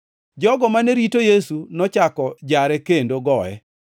Jogo mane rito Yesu nochako jare kendo goye.